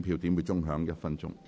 表決鐘會響1分鐘。